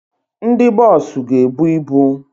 Ndị boosu ga-ebu ịbụ